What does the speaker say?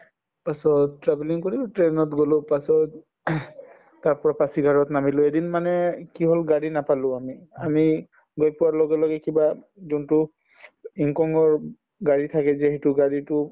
তাৰপাছত travelling কৰিলো train ত গলো পাছত তাৰপৰা পাঁচিঘাটত নামিলো এদিন মানে এই কি হল গাড়ী নাপালো আমি আমি গৈ পোৱাৰ লগে লগে কিবা উম যোনতো yingkiong ৰ উব গাড়ী থাকে যে সেইটো গাড়ীতো